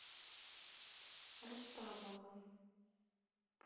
рустамовым